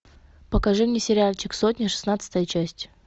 покажи мне сериальчик сотня шестнадцатая часть